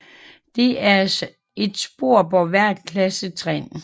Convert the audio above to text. Der er et spor på hvert klassetrin